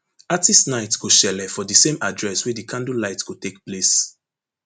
artistes night go shele for di same address wey di candlelight go take place